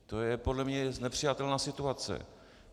To je podle mě nepřijatelná situace.